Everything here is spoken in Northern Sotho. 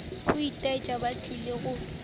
go itaetša ba tlile go